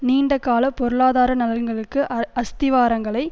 நீண்டகால பொருளாதார நலன்களுக்கு அஸ்திவாரங்களை